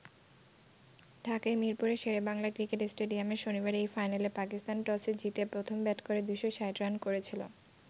ঢাকায় মিরপুরের শেরে বাংলা ক্রিকেট স্টেডিয়ামে শনিবার এই ফাইনালে পাকিস্তান টসে জিতে প্রথম ব্যাট করে ২৬০ রান করেছিল।